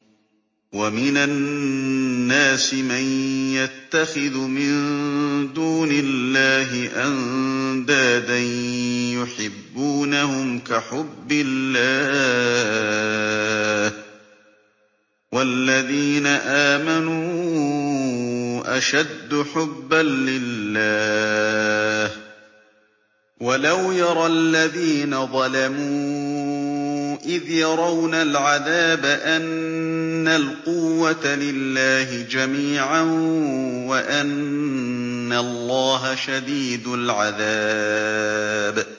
وَمِنَ النَّاسِ مَن يَتَّخِذُ مِن دُونِ اللَّهِ أَندَادًا يُحِبُّونَهُمْ كَحُبِّ اللَّهِ ۖ وَالَّذِينَ آمَنُوا أَشَدُّ حُبًّا لِّلَّهِ ۗ وَلَوْ يَرَى الَّذِينَ ظَلَمُوا إِذْ يَرَوْنَ الْعَذَابَ أَنَّ الْقُوَّةَ لِلَّهِ جَمِيعًا وَأَنَّ اللَّهَ شَدِيدُ الْعَذَابِ